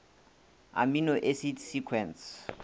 amino acid sequence